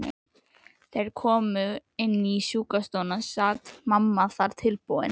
Þegar þeir komu inní sjúkrastofuna sat mamma þar tilbúin.